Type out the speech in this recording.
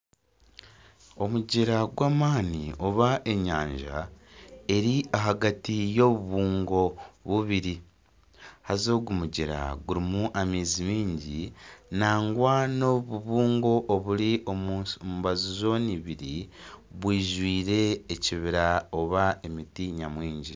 Omugyera gw'amani oba enyanja eri ahagati y'obubungo bubiri haza ogu mugyera gurimu amaizi maingi nangwa n'obubungo oburi omu mbaju zoona ibiri bwijwire ekibira nari emiti nyamwingi